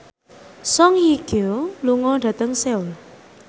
Song Hye Kyo lunga dhateng Seoul